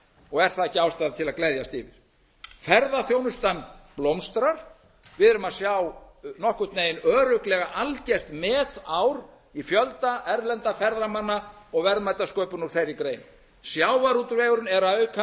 og er það ekki ástæðan til að gleðjast yfir ferðaþjónustan blómstrar við erum að sjá nokkurn veginn örugglega algert metár í fjölda erlendra ferðamanna og verðmætasköpun úr þeirri grein sjávarútvegurinn er að auka